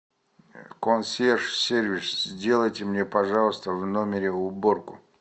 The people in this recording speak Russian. консьерж сервис сделайте мне пожалуйста в номере уборку